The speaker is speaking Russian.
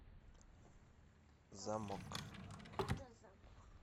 замок